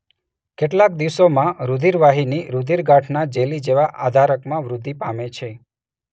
કેટલાક દિવસોમાં રૂધિરવાહિની રૂધિરગાંઠના જેલી જેવા આધારકમાં વૃદ્ધિ પામે છે.